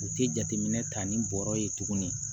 U tɛ jateminɛ ta ni bɔrɔ ye tuguni